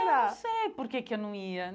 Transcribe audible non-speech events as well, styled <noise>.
<unintelligible> Eu não sei por que que eu não ia.